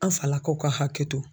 An falakaw ka hakɛ to.